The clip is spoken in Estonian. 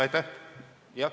Aitäh!